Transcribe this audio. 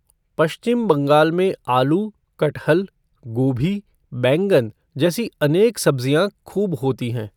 पश्चिम बंगाल में आलू, कटहल, गोभी, बैंगन, जैसी अनेक सब्जियां खूब होती हैं।